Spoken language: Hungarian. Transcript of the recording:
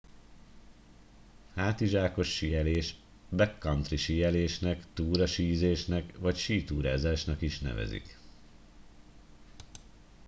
hátizsákos síelés backcountry síelésnek túrasízésnek vagy sítúrázásnak is nevezik